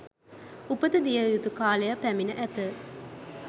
උපත දිය යුතු කාලය පැමිණ ඇත